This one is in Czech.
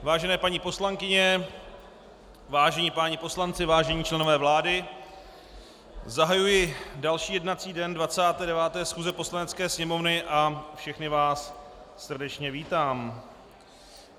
Vážené paní poslankyně, vážení páni poslanci, vážení členové vlády, zahajuji další jednací den 29. schůze Poslanecké sněmovny a všechny vás srdečně vítám.